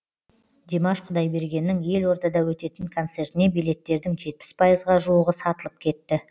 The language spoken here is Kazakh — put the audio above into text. димаш құдайбергеннің елордада өтетін концертіне билеттердің жетпіс пайызға жуығы сатылып кетті